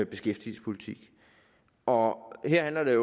beskæftigelsespolitik og her handler det